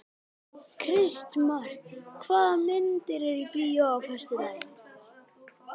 Kristmar, hvaða myndir eru í bíó á föstudaginn?